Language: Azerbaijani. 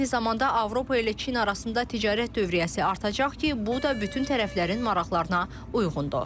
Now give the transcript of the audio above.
Eyni zamanda Avropa ilə Çin arasında ticarət dövriyyəsi artacaq ki, bu da bütün tərəflərin maraqlarına uyğundur.